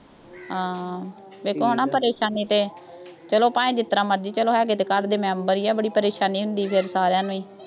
ਹਾਂ, ਫੇਰ ਕੌਣ ਆ ਪਰੇਸ਼ਾਨੀ ਤੇ, ਚੱਲੋ ਭਾਈ ਜਿਸ ਤਰ੍ਹਾਂ ਮਰਜ਼ੀ ਚੱਲੋ, ਹੈਗੇ ਤਾਂ ਘਰ ਦੇ member ਹੀ ਆ, ਬੜੀ ਪਰੇਸ਼ਾਨੀ ਹੁੰਦੀ ਫੇਰ ਸਾਰਿਆਂ ਨੂੰ ਹੀ।